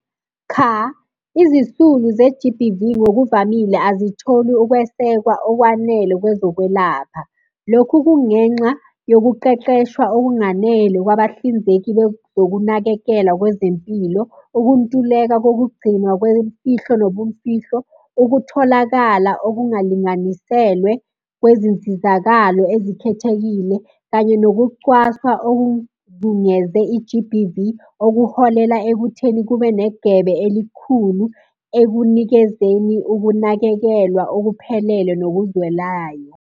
Cha, izisulu ze-G_B_V, ngokuvamile azitholi ukwesekwa okwanele kwezokwelapha. Lokhu kungenxa yokuqeqeshwa okunganele kwabahlinzeki bezokunakekela kwezempilo, ukuntuleka kokugcinwa kwemfihlo nobumfihlo, ukutholakala okungalinganiselwe kwezinsizakalo ezikhethekile, kanye nokucwaswa okuzungeze i-G_B_V. Okuholela ekutheni kube negebe elikhulu ekunikezeni ukunakekelwa okuphelele nokuzwelayo.